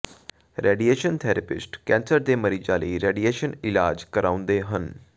radiation therapist cancer ਦੇ ਮਰੀਜ਼ਾਂ ਲਈ ਰੇਡੀਏਸ਼ਨ ਇਲਾਜ ਕਰਾਉਂਦੇ ਹਨ